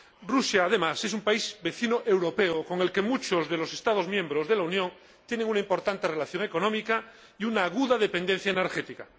Rusia, además, es un país vecino europeo con el que muchos de los Estados miembros de la Unión tienen una importante relación económica y una aguda dependencia energética